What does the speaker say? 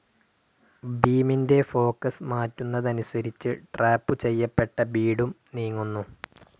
ബീമിന്റെ ഫോക്കസ്‌ മാറ്റുന്നതനുസരിച്ച് ട്രാപ്പ്‌ ചെയ്യപ്പെട്ട ബീഡും നീങ്ങുന്നു.